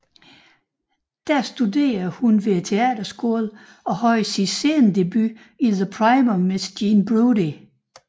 Der studerede hun ved teaterskolen og havde sin scenedebut i The Prime of Miss Jean Brodie